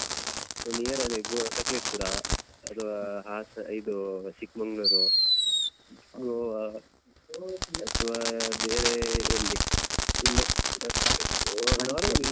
Near ಅದೇ ಗೋವಾ ಸಕಲೇಶ್ಪುರ ಅಥವಾ ಅಹ್ ಇದು ಚಿಕ್ಮಂಗ್ಲೂರು ಗೋವಾ ಅಥವಾ ಬೇರೆ ಎಲ್ಲಿ ಇಲ್ಲಿ normal nearest ಮಡಿಕೇರಿ ಕೂರ್ಗ್ ಆತರ ಎಲ್ಲಾದ್ರೂ ಎಲ್ಲಾ ಹೋಗುವ ಅಂತ.